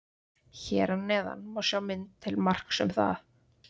Hér að neðan má sjá mynd til marks um það.